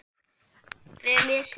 Vel lesið.